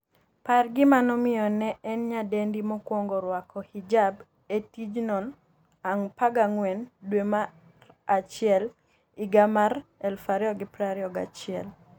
par gima nomiyo ne en nyadendi mokwongo rwako hijab e tijno14 dwe mar achiel higa mar 2021